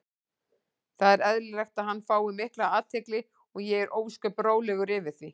Það er eðlilegt að hann fái mikla athygli og ég er ósköp rólegur yfir því.